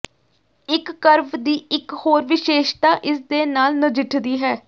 ਇਕ ਕਰਵ ਦੀ ਇਕ ਹੋਰ ਵਿਸ਼ੇਸ਼ਤਾ ਇਸਦੇ ਨਾਲ ਨਜਿੱਠਦੀ ਹੈ